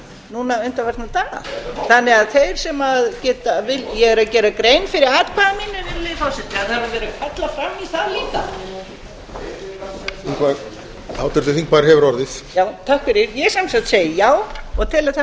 núna undanfarna daga ég er að gera grein fyrir atkvæði mínu virðulegi forseti þarf að vera að kalla fram í sal líka háttvirtur þingmaður hefur orðið ég segi já og tel að það